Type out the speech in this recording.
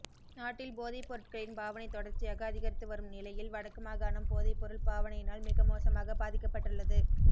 நாட்டில் போதைப்பொருட்களின் பாவனை தொடர்ச்சியாக அதிகரித்து வரும் நிலையில் வடக்கு மாகாணம் போதைப்பொருள் பாவனையினால் மிக மோசமாக பாதிக்கப்பட்டுள்ளது